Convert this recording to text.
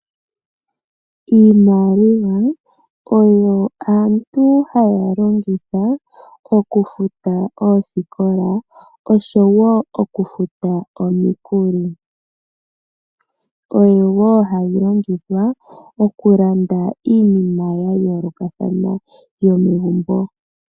Iimaliwa oyo aantu haya longitha okufuta oosikola oshowo okufuta omikuli, oyo wo hayi longithwa okulanda iinima ya yoolokathana yomegumbo.